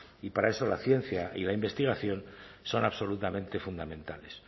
y para eso la ciencia y la investigación son absolutamente fundamentales